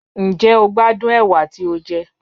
Njẹ o gbadun ewa ti o jẹ?